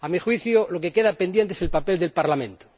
A mi juicio, lo que queda pendiente es el papel del Parlamento.